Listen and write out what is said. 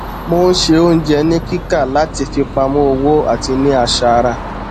mo n se oúnjẹ ni kíkà láti fipamọ owó àti ní aṣara